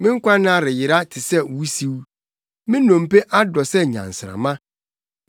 Me nkwanna reyera te sɛ wusiw; me nnompe adɔ sɛ nyansramma.